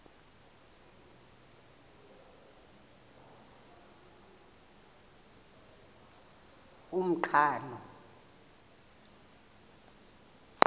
umqhano